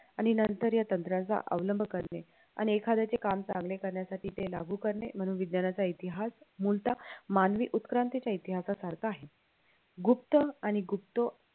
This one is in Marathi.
आणि नंतर या तंत्राचा अवलंब करणे आणि एखाद्याचे काम चांगले करण्यासाठी ते लागू करणे मनोविज्ञाचा इतिहास मुलतः मानवी उत्क्रांतीच्या इतिहासासारखा आहे गुप्त आणि गुप्तो